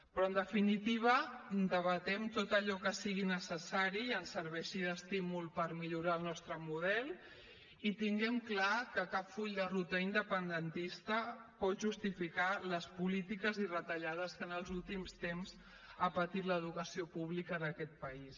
però en definitiva debatem tot allò que sigui necessari i que ens serveixi d’estímul per millorar el nostre model i tinguem clar que cap full de ruta independentista pot justificar les polítiques i retallades que en els últims temps ha patit l’educació pública d’aquest país